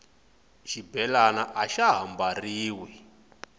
xibelani axa ha mbariwi